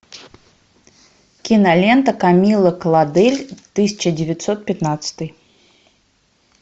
кинолента камилла клодель тысяча девятьсот пятнадцатый